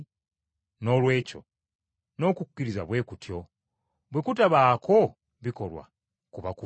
Noolwekyo n’okukkiriza bwe kutyo; bwe kutabaako bikolwa kuba kufu.